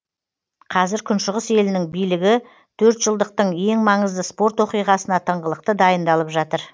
қазір күншығыс елінің билігі төртжылдықтың ең маңызды спорт оқиғасына тыңғылықты дайындалып жатыр